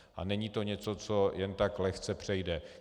A není to něco, co jen tak lehce přejde.